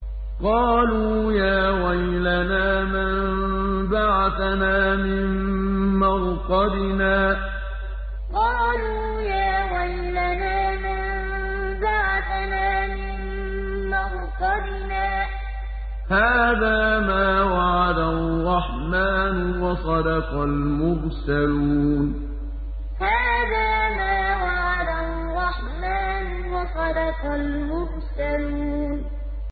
قَالُوا يَا وَيْلَنَا مَن بَعَثَنَا مِن مَّرْقَدِنَا ۜۗ هَٰذَا مَا وَعَدَ الرَّحْمَٰنُ وَصَدَقَ الْمُرْسَلُونَ قَالُوا يَا وَيْلَنَا مَن بَعَثَنَا مِن مَّرْقَدِنَا ۜۗ هَٰذَا مَا وَعَدَ الرَّحْمَٰنُ وَصَدَقَ الْمُرْسَلُونَ